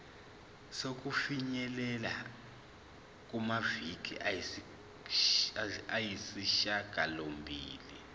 sokufinyelela kumaviki ayisishagalombili